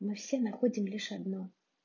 мы все находим лишь одно